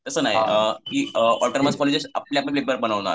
तसं नाही autonomous college आपले अप पेपर बनवणार.